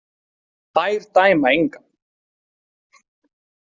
Þær dæma engan.